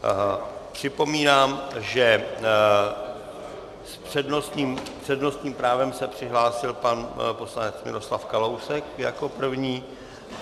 Připomínám, že s přednostním právem se přihlásil pan poslanec Miroslav Kalousek jako první.